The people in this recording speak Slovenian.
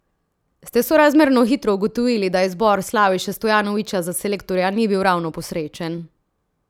Ste sorazmerno hitro ugotovili, da izbor Slaviše Stojanovića za selektorja ni bil ravno posrečen?